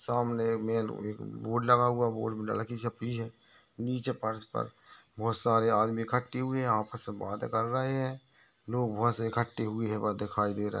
सामने मेल एक बोर्ड लगा हुआ है नीचे फर्श पर बहुत सारे आदमी इखट्टे हुए है आपस में बाते कर रहे है लोग बहुत से इखट्टे हुए दिखाई दे रहे है।